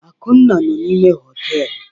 Akunna nọ n'ime họtelu.